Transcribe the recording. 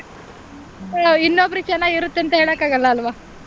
ಹಾ ಇನ್ನೊಬ್ರಿಗೆ ಚೆನ್ನಾಗಿರುತ್ತೆ ಇರುತ್ತೆ ಅಂತ ಹೇಳೋಕ್ ಆಗಲ್ಲ ಅಲ್ವಾ.